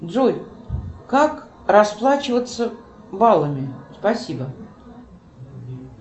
джой как расплачиваться баллами спасибо